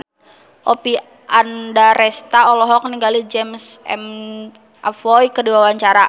Oppie Andaresta olohok ningali James McAvoy keur diwawancara